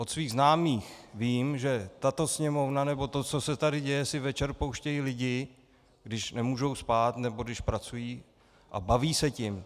Od svých známých vím, že tato Sněmovna, nebo to, co se tady děje, si večer pouštějí lidi, když nemůžou spát nebo když pracují, a baví se tím.